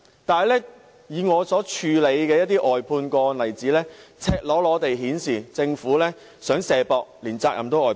但是，我曾處理的一些外判個案赤裸裸地顯示，政府想"卸膊"，連責任也外判。